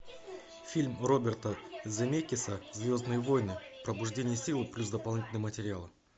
фильм роберта земекиса звездные войны пробуждение силы плюс дополнительные материалы